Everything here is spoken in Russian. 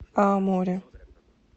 аомори